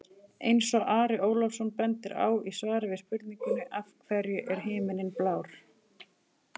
Eins og Ari Ólafsson bendir á í svari við spurningunni Af hverju er himinninn blár?